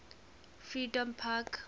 freedompark